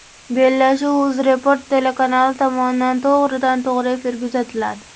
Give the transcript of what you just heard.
Bellashuv UzReport telekanali tomonidan to‘g‘ridan to‘g‘ri efirda uzatiladi.